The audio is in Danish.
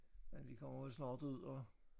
Nej vi kommer vel snart ud og